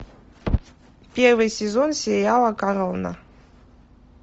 первый сезон сериала корона